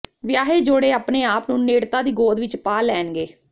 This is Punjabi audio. ਵਿਆਹੇ ਜੋੜੇ ਆਪਣੇ ਆਪ ਨੂੰ ਨੇੜਤਾ ਦੀ ਗੋਦ ਵਿਚ ਪਾ ਲੈਣਗੇ